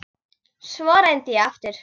Svo reyndi ég aftur.